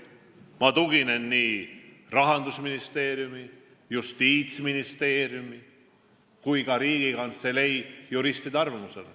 Ma tuginen Rahandusministeeriumi, Justiitsministeeriumi ja ka Riigikantselei juristide arvamusele.